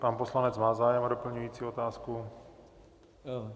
Pan poslanec má zájem o doplňující otázku?